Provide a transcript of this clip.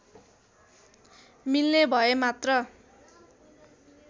मिल्ने भए मात्र